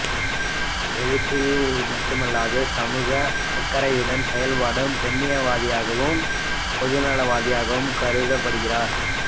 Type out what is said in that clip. எழுத்தில் மட்டுமல்லாது சமூக அக்கறையுடன் செயல்படும் பெண்ணியவாதியாகவும் பொதுநலவாதியாகவும் கருதப்படுகிறார்